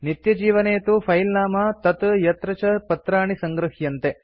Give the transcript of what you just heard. नित्यजीवने तु फिले नाम तत् यत्र च पत्राणि सङ्गृह्यन्ते